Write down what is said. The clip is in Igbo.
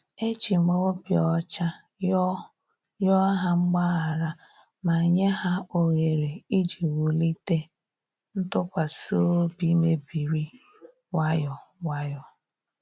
E jim obi ocha yoo yoo ha mgbaghara ma nye ha ohere iji wulite ntụkwasị obi mebiri nwayọ nwayọ